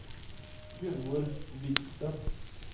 Gunnvor Hvidsten